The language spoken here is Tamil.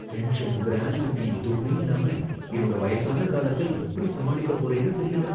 பென்ஷன், கிராஜுவிட்டி எதுவுமே இல்லாம என்னோட வயசான காலத்த எப்படி சமாளிக்க போறேன்னு தெரியல.